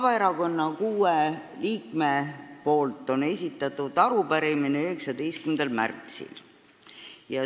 Vabaerakonna kuus liiget esitasid oma arupärimise 19. märtsil.